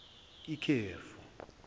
ikhefu